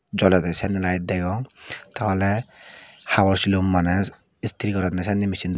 jolede sanne layet degong teoley habor silum maney istri goronne sekke misin.